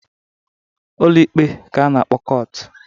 Ụlọ Ikpe ka a na-akpọ kọt.